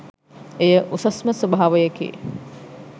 එය උසස්ම ස්වභාවයකි.